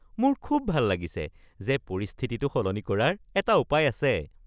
মোৰ খুব ভাল লাগিছে যে পৰিস্থিতিটো সলনি কৰাৰ এটা উপায় আছে